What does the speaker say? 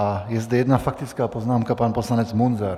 A je zde jedna faktická poznámka, pan poslanec Munzar.